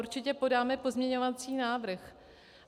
Určitě podáme pozměňovací návrh.